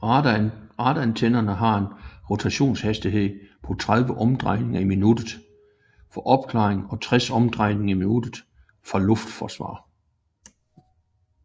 Radarantennen har en rotationshastighed på 30 omdrejninger i minuttet for opklaring og 60 omdrejninger i minuttet for luftforsvar